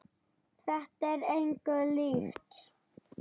Þetta er engu líkt.